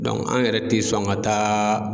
an yɛrɛ tɛ sɔn ka taaaa